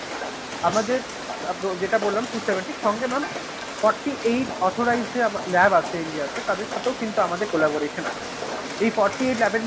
আমাদের যেটা বললাম four Seventy সঙ্গে mam forty-eight authorized labs আছে ইন্ডিয়াতে, তাদের সাথেও কিন্তু আমাদের collaboration আছে. এই forty-eight lab র মধ্যে